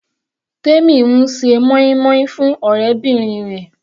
Temi ń ṣe moin-moin fún ọ̀rẹ́bìnrin rẹ̀.